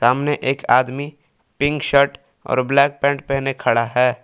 सामने एक आदमी पिंक शर्ट और ब्लैक पैंट पहने खड़ा है।